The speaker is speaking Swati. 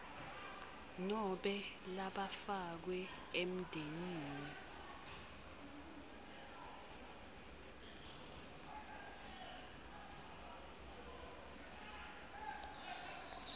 nobe labafakwe emndenini